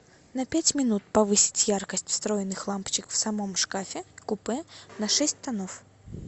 на пять минут повысить яркость встроенных лампочек в самом шкафе купе на шесть тонов